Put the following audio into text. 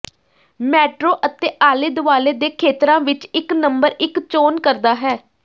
metro ਅਤੇ ਆਲੇ ਦੁਆਲੇ ਦੇ ਖੇਤਰਾਂ ਵਿੱਚ ਇੱਕ ਨੰਬਰ ਇੱਕ ਚੋਣ ਕਰਦਾ ਹੈ